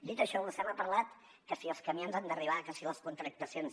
dit això vostè m’ha parlat que si els camions han d’arribar que si les contractacions